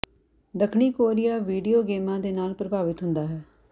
ਦੱਖਣੀ Korea video ਗੇਮਾਂ ਦੇ ਨਾਲ ਪ੍ਰਭਾਵਿਤ ਹੁੰਦਾ ਹੈ